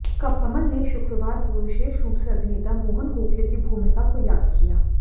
कमल ने शुक्रवार को विशेष रूप से अभिनेता मोहन गोखले की भूमिका को याद किया